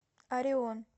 арион